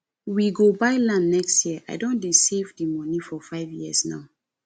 we go buy land next year and i don dey save the money for five years now